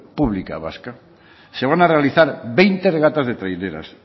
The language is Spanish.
pública vasca se van a realizar veinte regatas de traineras